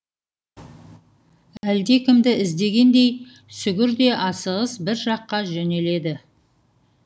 әлдекімді іздегендей сүгір де асығыс бір жаққа жөнеледі